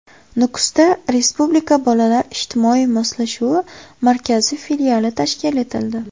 Nukusda Respublika bolalar ijtimoiy moslashuvi markazi filiali tashkil etildi.